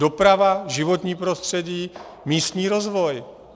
Doprava, životní prostředí, místní rozvoj.